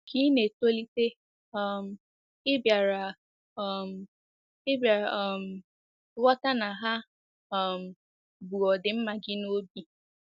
Ka ị na-etolite, um ị bịara um ị bịara um ghọta na ha um bu ọdịmma gị n'obi.